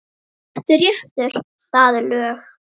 Settur réttur, það er lög.